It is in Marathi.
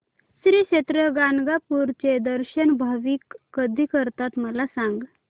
श्री क्षेत्र गाणगापूर चे दर्शन भाविक कधी करतात मला सांग